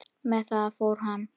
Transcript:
Með það fór hann.